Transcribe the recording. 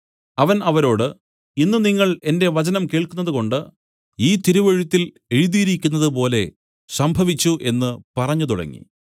അവൻ അവരോട് ഇന്ന് നിങ്ങൾ എന്റെ വചനം കേൾക്കുന്നത് കൊണ്ട് ഈ തിരുവെഴുത്തിൽ എഴുതിയിരിക്കുന്നത് പോലെ സംഭവിച്ചു എന്നു പറഞ്ഞുതുടങ്ങി